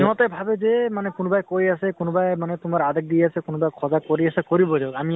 ইহঁতে ভাবে যে মানে কোনোবাই কৈ আছে, কোনোবাই মানে তোমাৰ আদেশ দি আছে, কোনোবাই সজাগ কৰি আছে কৰিব দিয়ক। আমি